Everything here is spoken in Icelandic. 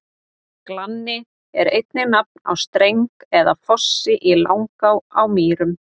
Glanni er einnig nafn á streng eða fossi í Langá á Mýrum.